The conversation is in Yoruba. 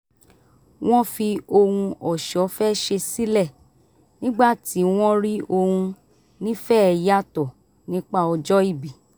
wọ́n fi ohun ọ̀ṣọ́ fẹ́ ṣe sílẹ̀ nígbà tí wọ́n rí ohun nífẹ̀ẹ́ yàtọ̀ nípa ọjọ́ ìbí